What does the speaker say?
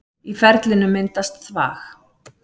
Í ferlinu myndast þvag.